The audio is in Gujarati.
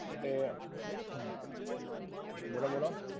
એ. બોલો-બોલો.